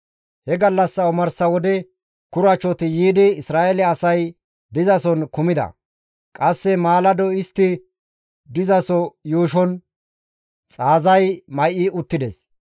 He gallassa omarsa wode kurachoti yiidi Isra7eele asay dizason kumida; qasse maalado istti dizaso yuushon xaazay may7i uttides.